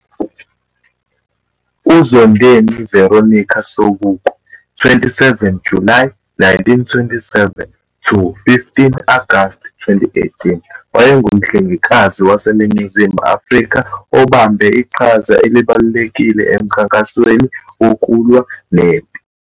UZondeni Veronica Sobukwe, 27 kuJulayi 1927 to 15 Agasti 2018, wayengumhlengikazi waseNingizimu Afrika obambe iqhaza elibalulekile eMkhankasweni Wokulwa Nempi.